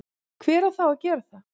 hver á þá að gera það?